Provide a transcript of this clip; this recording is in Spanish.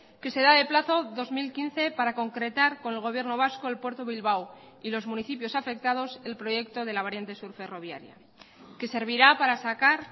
que se da de plazo dos mil quince para concretar con el gobierno vasco el puerto bilbao y los municipios afectados el proyecto de la variante sur ferroviaria que servirá para sacar